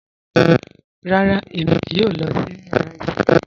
Rárá, Ẹmi kíì yọ lọ sí yàrà isinmi.